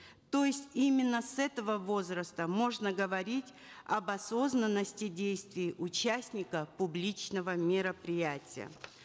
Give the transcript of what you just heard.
то есть именно с этого возраста можно говорить об осознанности действий участников публичного мероприятия